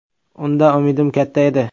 Undan umidim katta edi.